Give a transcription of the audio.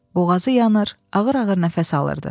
Boğazı yanır, ağır-ağır nəfəs alırdı.